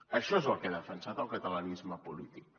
això és el que ha defensat el catalanisme polític